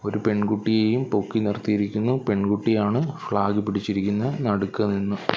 ഒരു പെൺകുട്ടിയെയും പൊക്കി നിർത്തിയിരിക്കുന്നു പെൺകുട്ടിയാണ് ഫ്ലാഗ് പിടിച്ചിരിക്കുന്നെ നടുക്ക് നിന്നും.